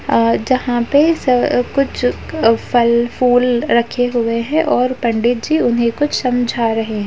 आ जहाँं पे स अ कुछ अ फल-फूल रखे हुए हैं और पंडित जी उन्हे कुछ समझा रहे हैं।